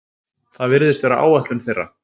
Það virðist vera áætlun þeirra